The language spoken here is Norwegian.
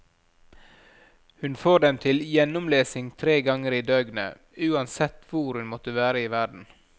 Hun får dem til gjennomlesing tre ganger i døgnet, uansett hvor hun måtte være i verden.